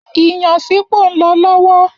Iyán sípò nlọ lọ́wọ́